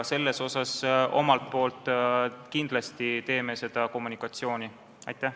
Me omalt poolt kindlasti tegeleme selle kommunikatsiooniga.